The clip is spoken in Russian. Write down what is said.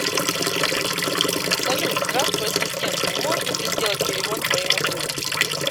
салют здравствуй ассистент не можешь ли ты сделать перевод моему сыну